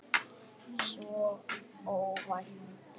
Svo óvænt.